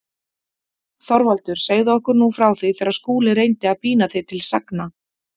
ÞORVALDUR: Segðu okkur nú frá því þegar Skúli reyndi að pína þig til sagna.